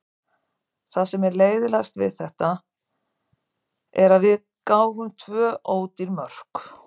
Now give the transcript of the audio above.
Það sem er leiðinlegast við þetta er að við gáfum tvö ódýr mörk.